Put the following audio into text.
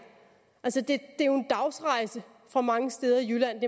det er jo en dagsrejse fra mange steder i jylland